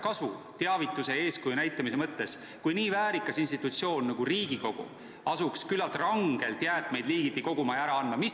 Kas eeskuju näitamisest oleks kasu, kui nii väärikas institutsioon nagu Riigikogu asuks küllalt rangelt jäätmeid liigiti koguma ja ära andma?